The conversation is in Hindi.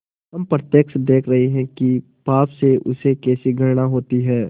हम प्रत्यक्ष देख रहे हैं कि पाप से उसे कैसी घृणा होती है